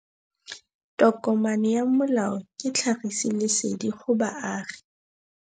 Tokomane ya molao ke tlhagisi lesedi go baagi.